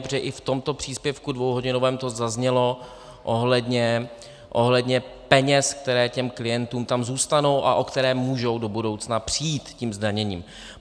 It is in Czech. Protože i v tomto příspěvku dvouhodinovém to zaznělo ohledně peněz, které těm klientům tam zůstanou a o které můžou do budoucna přijít tím zdaněním.